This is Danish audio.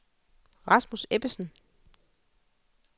Rasmus Ebbesen